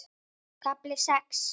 KAFLI SEX